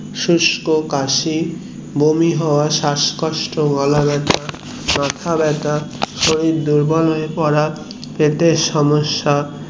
শুস্ক কাশি বমি হওয়া শ্বাসকষ্ট গলা ব্যাথা হওয়া মাথা ব্যাথা শরীর দুর্বল হয়ে পড়া পেটের সমস্যা